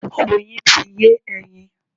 Oyin ti yé ẹyin.